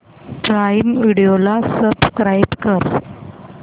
prime video ला subscribe कर